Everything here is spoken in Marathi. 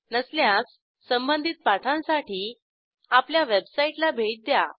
नसल्यास संबधित पाठांसाठी आपल्या वेबसाईटला भेट द्या